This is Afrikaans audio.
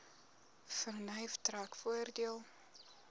vernuf trek voordeel